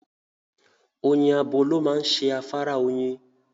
Oyin abo ló máa ń ṣe afárá oyin.